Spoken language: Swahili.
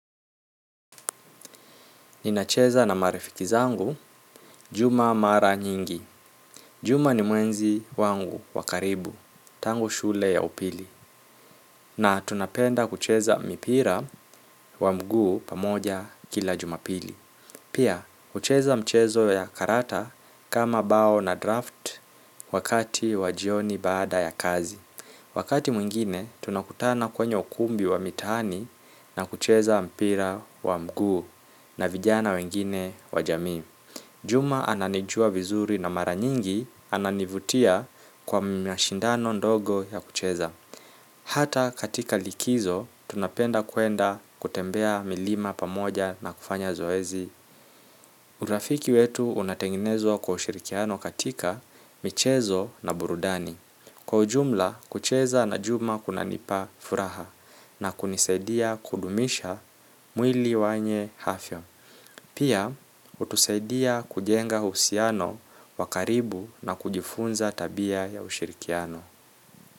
Ninacheza na marafiki zangu, juma mara nyingi. Juma ni mwenzi wangu wakaribu, tango shule ya upili. Na tunapenda kucheza mipira wa mguu pamoja kila jumapili. Pia, hucheza mchezo ya karata kama bao na draft wakati wajioni baada ya kazi. Wakati mwingine, tunakutana kwenye ukumbi wa mitaani na kucheza mpira wa mguu na vijana wengine wajamii. Juma ananijua vizuri na mara nyingi ananivutia kwa mashindano ndogo ya kucheza. Hata katika likizo, tunapenda kuenda kutembea milima pamoja na kufanya zoezi. Urafiki wetu unatengenezwa kwa ushirikiano katika michezo na burudani. Kwa ujumla kucheza na Juma kunanipa furaha, na kunisaidia kudumisha mwili mwenye afya pia, hutusaidia kujenga husiano wakaribu na kujifunza tabia ya ushirikiano.